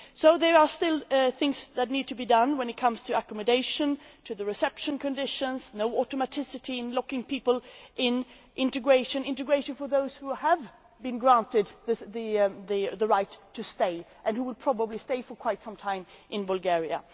There are still things that need to be done when it comes to accommodation, to reception conditions no automaticity in locking people up and to integration for those who have been granted the right to stay, and who will probably stay for quite some time in Bulgaria.